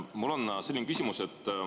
Mul on selline küsimus.